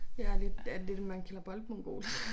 Jeg er lidt øh det man kalder boldmongol